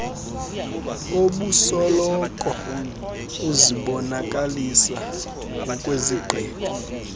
obusoloko uzibonakalisa ngokwezigqibo